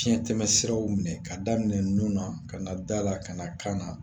Fiɲɛtɛmɛsiraw minɛ k'a daminɛ nun na ka na da la ka na kan na